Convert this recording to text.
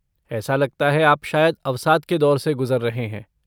ऐसा लगता है आप शायद अवसाद के दौर से गुज़र रहे हैं।